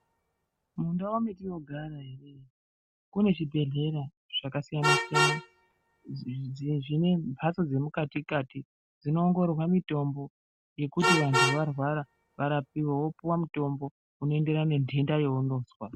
Mundau mwetinogara ere kune zvibhedhlera zvakasiyana siyana dzi dzie zvine mhatso dzemukati kati dzinoongororwa mutombo yekuti vantu varwara varapiwe wopuwe mutombo unoenderanentenda yeunozwa.